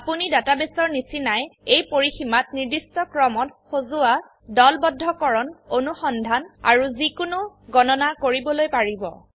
আপোনিডাটাবেসৰ নিচিনাই এই পৰিসীমাত নিৰ্দিষ্ট ক্ৰমত সজোৱা দলবদ্ধকৰণ অনুসন্ধান আৰু যিকোনো গণনা কৰিবলৈ পাৰিব